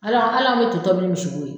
Ala ala be to tɔbi nin misi bo ye